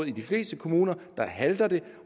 i de fleste kommuner halter